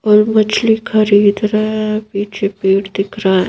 और मछली खरीद रहे हैं पीछे पेट दिख रहा ए ।